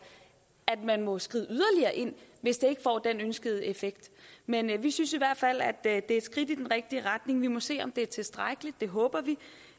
at man må skride yderligere ind hvis det ikke får den ønskede effekt men vi synes i hvert fald det er et skridt i den rigtige retning vi må se om det er tilstrækkeligt det håber vi